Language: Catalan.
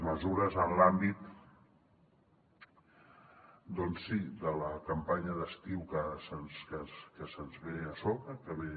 mesures en l’àmbit doncs sí de la campanya d’estiu que ens ve a sobre que ve